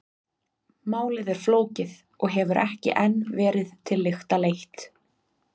Málið er flókið og hefur ekki enn verið til lykta leitt.